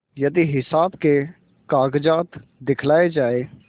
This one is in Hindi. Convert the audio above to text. यदि हिसाब के कागजात दिखलाये जाएँ